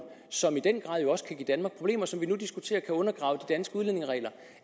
som i den grad også kan give danmark problemer og som vi nu diskuterer kan undergrave de danske udlændingeregler